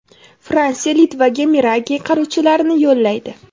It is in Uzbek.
Fransiya Litvaga Mirage qiruvchilarini yo‘llaydi.